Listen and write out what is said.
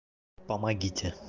помогите